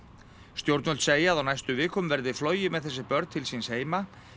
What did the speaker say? stjórnvöld segja að á næstu vikum verði flogið með þessi börn til síns heima